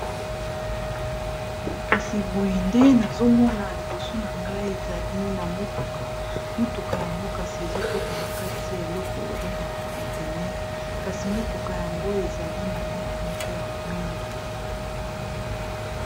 kasi boye nde nazomona liboso na ngai ezali na motuka motuka yango kasi ezokotana kati ya eloko babengaka contener kasi motuka yango ezali na langi moko ya mwindo